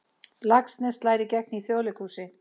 Laxness slær í gegn í Þjóðleikhúsi